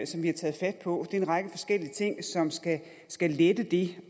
som vi har taget fat på er en række forskellige ting som skal lette det